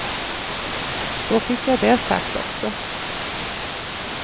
Så fick jag det sagt också.